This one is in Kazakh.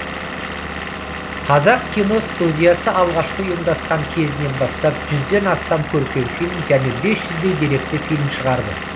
қазақ киностудиясы алғашқы ұйымдасқан кезінен бастап жүзден астам көркем фильм және бес жүздей деректі фильм шығарды